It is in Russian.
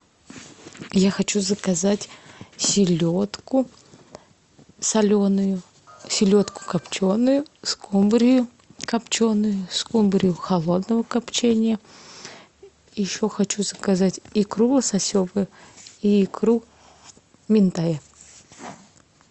я хочу заказать селедку соленую селедку копченую скумбрию копченую скумбрию холодного копчения еще хочу заказать икру лососевую и икру минтая